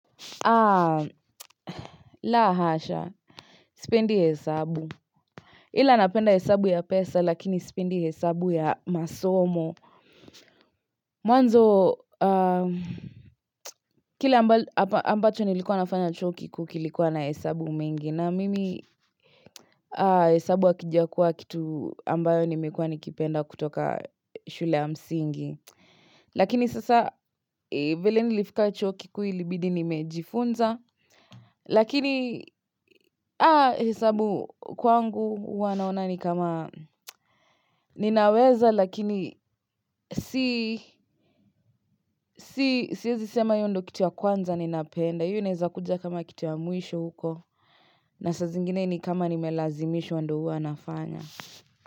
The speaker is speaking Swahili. La hasha, sipendi hesabu. Ila napenda hesabu ya pesa lakini sipendi hesabu ya masomo. Mwanzo, kile ambacho nilikuwa nafanya chuo kikuu kilikuwa na hesabu mingi. Na mimi hesabu hakijakua kitu ambayo nimekuwa nikipenda kutoka shule ya msingi. Lakini sasa, vile nilifika chuo kikuu ilibidi nimejifunza. Lakini hesabu kwangu huwanaona ni kama ninaweza lakini siwezi sema hiyo ndo kitu ya kwanza ninapenda hiyo inaeza kuja kama kitu ya mwisho huko na saa zingine ni kama nimelazimishwa ndoo huwa nafanya.